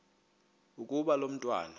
ukuba lo mntwana